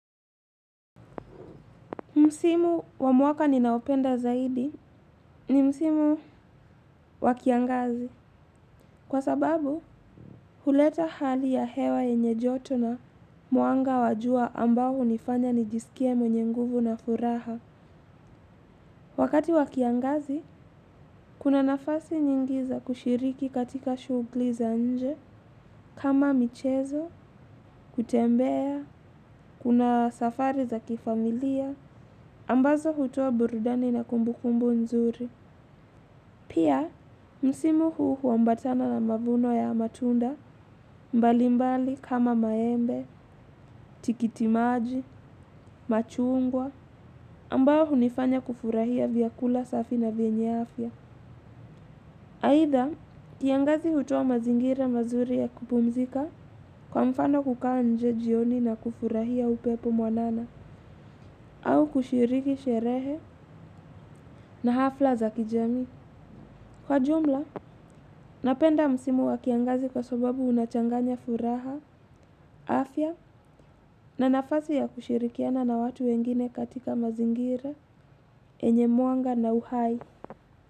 Msimu wa mwaka ninaoupenda zaidi ni msimu wa kiangazi. Kwa sababu, huleta hali ya hewa yenye joto na mwanga wa jua ambao hunifanya nijisikie mwenye nguvu na furaha. Wakati wa kiangazi, kuna nafasi nyingi za kushiriki katika shughuli za nje, kama michezo, kutembea, kuna safari za kifamilia, ambazo hutoa burudani na kumbukumbu nzuri. Pia, msimu huu huambatana na mavuno ya matunda mbalimbali kama maembe, tikitimaji, machungwa, ambayo hunifanya kufurahia vyakula safi na venye afya. Aidha, kiangazi hutoa mazingira mazuri ya kupumzika kwa mfano kukaa nje jioni na kufurahia upepo mwanana, au kushiriki sherehe na hafla za kijamii. Kwa jumla, napenda msimu wa kiangazi kwa sababu unachanganya furaha, afya na nafasi ya kushirikiana na watu wengine katika mazingira, enye mwanga na uhai.